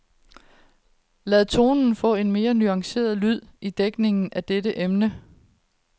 Lad tonen få en mere nuanceret lyd i dækning af dette emne.